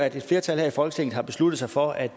et flertal her i folketinget har besluttet sig for at